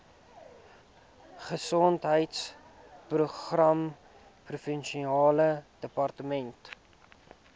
gesondheidsprogramme provinsiale departement